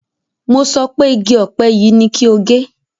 Mo sọ pé igi ọ̀pẹ yìí ni kí o gé!